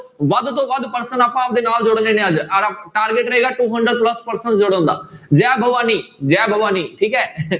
ਵੱਧ ਤੋਂ ਵੱਧ person ਆਪਾਂ ਆਪਦੇ ਨਾਲ ਜੋੜਨੇ ਨੇ ਅੱਜ ਆਰ~ target ਰਹੇਗਾ two hundred plus person ਜੋੜਨ ਦਾ, ਜੈ ਭਵਾਨੀ ਜੈ ਭਵਾਨੀ ਠੀਕ ਹੈ